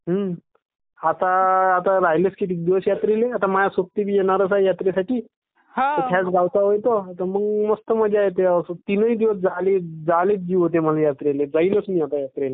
आता आता राहिलेच किती दिवस यात्रेले आता माया सोबती बी येणार आहे यात्रेसाठी त्याच गाव चा ये तो ता मग मस्त मज्जा येते तीन दिवस जाले चा जीव होते यात्रेले जाईलच मी आता यात्रेले.